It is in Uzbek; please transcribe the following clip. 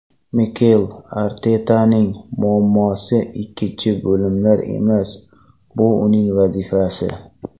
Mikel Artetaning muammosi ikkinchi bo‘limlar emas, bu uning vazifasi!